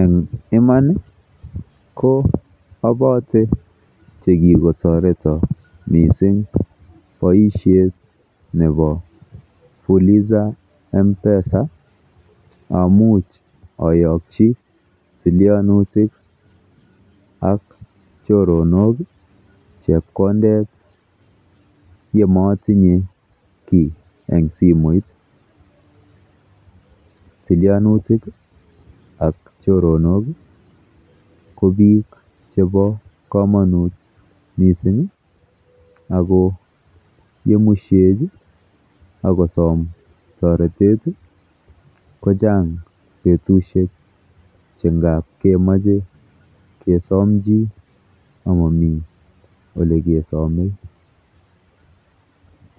En iman ko agose ko kirgotoreton mising boisiet nebo Fuliza M-Pesa amuch oyokyi tilyanutik ak choronok chepkondet yemotinye kiy en simoit. Tilyanutik ak choronok ko biik chebo komonut misinga go ye musyin ak kosom toretet kochang betushek che ngab kemoche kesom kiy amami ole kesome.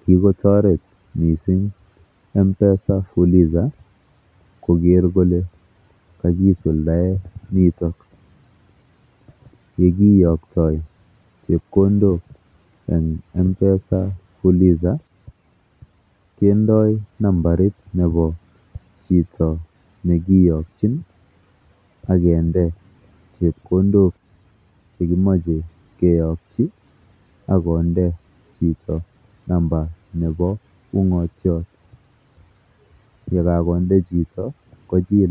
Kigotoret mising M-Pesa Fuliza koger kole kagisuldaen nitok ye kiyokto chepkondok en M-Pesa Fuliza kendoi nambarit nebo chito ne kiyokin ak kinde chepkondok che kimoche keyokyi ak konde chito namba nebo ung'ot ye kagonde chito ko.